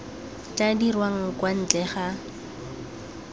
tla dirwang kwa ntle ga